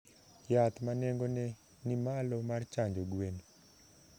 Yath ma nengone ni malo mar chanjo gwen.